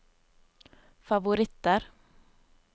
favoritter